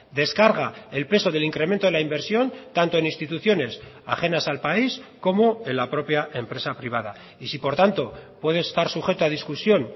descarga el peso del incremento de la inversión tanto en instituciones ajenas al país como en la propia empresa privada y si por tanto puede estar sujeto a discusión